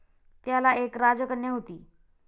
त्याला एक राजकन्या होती.